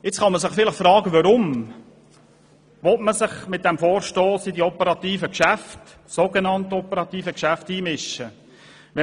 Nun kann man sich fragen, warum man sich mittels eines Vorstosses in die so genannt operativen Geschäfte einmischen solle.